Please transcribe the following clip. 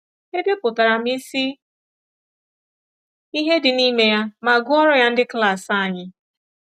Edepụtara m isi ihe dị n’ime ya ma gụọrọ ya ndị klas anyị.